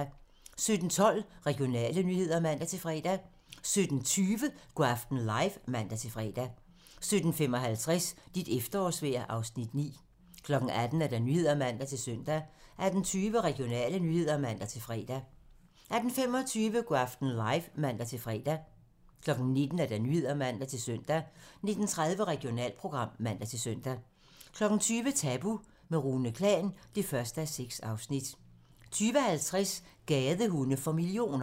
17:12: Regionale nyheder (man-fre) 17:20: Go' aften live (man-fre) 17:55: Dit efterårsvejr (Afs. 9) 18:00: Nyhederne (man-søn) 18:20: Regionale nyheder (man-fre) 18:25: Go' aften live (man-fre) 19:00: Nyhederne (man-søn) 19:30: Regionalprogram (man-søn) 20:00: Tabu - med Rune Klan (1:6) 20:50: Gadehunde for millioner